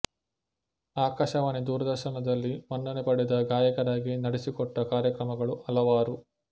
ಆಕಾಶವಾಣಿ ದೂರದರ್ಶನದಲ್ಲಿ ಮನ್ನಣೆ ಪಡೆದ ಗಾಯಕರಾಗಿ ನಡೆಸಿಕೊಟ್ಟ ಕಾರ್ಯಕ್ರಮಗಳು ಹಲವಾರು